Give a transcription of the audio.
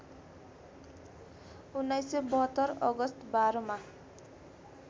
१९७२ August १२ मा